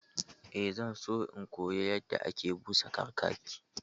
Eh, zan so in koyi yadda ake busa kakaki